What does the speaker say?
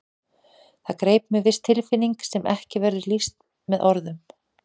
Það greip mig viss tilfinning sem ekki verður lýst með orðum.